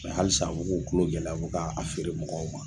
Mɛ halisa u b'u kulow gɛlɛ u bɛ ka a feere mɔgɔw ma.